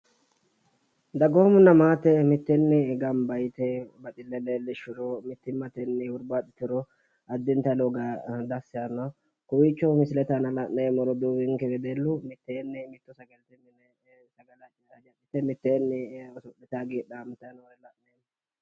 dagoomunns msste ganba yite baxille leellishshuro mitteenni hurbaaxituro addintani lowo geeshsha dassi yaanno kowiicho la'neemmori roduuwinke biiffanno yaate.